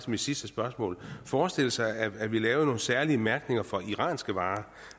mit sidste spørgsmål forestille sig at vi lavede nogle særlige mærkninger for iranske varer